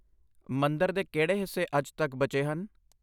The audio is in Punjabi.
ਮੰਦਰ ਦੇ ਕਿਹੜੇ ਹਿੱਸੇ ਅੱਜ ਤੱਕ ਬਚੇ ਹਨ?